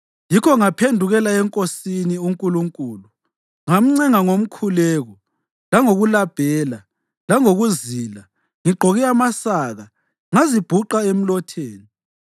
Yikho ngaphendukela eNkosini uNkulunkulu ngamncenga ngomkhuleko langokulabhela, langokuzila, ngigqoke amasaka ngazibhuqa emlotheni.